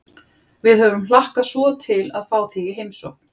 Við höfum hlakkað svo til að fá þig í heimsókn